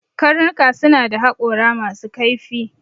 Dogs have sharp teeth